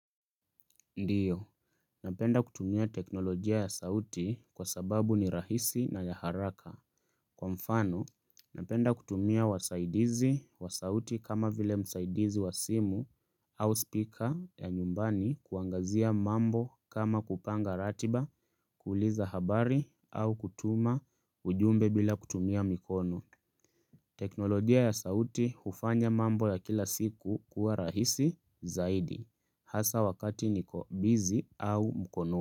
Ndio, napenda kutumia teknolojia ya sauti kwa sababu ni rahisi na ya haraka. Kwa mfano, napenda kutumia wasaidizi wa sauti kama vile msaidizi wa simu au speaker ya nyumbani kuangazia mambo kama kupanga ratiba, kuuliza habari au kutuma ujumbe bila kutumia mikono. Teknolojia ya sauti hufanya mambo ya kila siku kuwa rahisi zaidi. Hasa wakati niko busy au mkono.